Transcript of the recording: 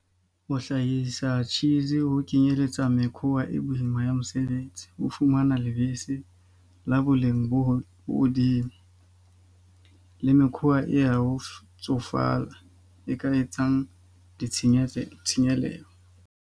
Ho hlahisa cheese ho kenyeletsa mekhwa e boima ya mosebetsi. O fumana lebese la boleng bo hodimo. Le mekhwa e ya ho tsofala e ka etsang ditshenyetso tshenyehelo.